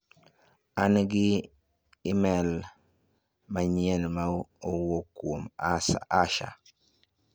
An gi imel manyien ma owuok kuom Asha.